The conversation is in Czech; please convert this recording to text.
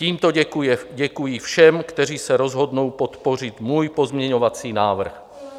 Tímto děkuji všem, kteří se rozhodnou podpořit můj pozměňovací návrh.